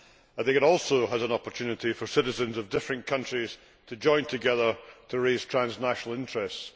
I think it also provides an opportunity for citizens of different countries to join together to raise transnational interests.